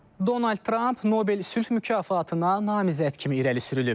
Donald Trump Nobel sülh mükafatına namizəd kimi irəli sürülüb.